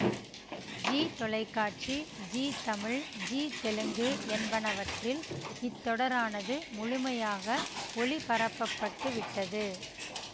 ஜீ தொலைக்காட்சி ஜீ தமிழ் ஜீ தெலுங்கு என்பனவற்றில் இத்தொடரானது முழுமையாக ஒளிபரப்ப பட்டு விட்டது